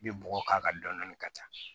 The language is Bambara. I bɛ bɔgɔ k'a kan dɔni dɔni ka ca